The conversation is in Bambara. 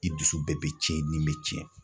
I dusu bɛɛ bɛ tiɲɛ ni bɛ tiɲɛ.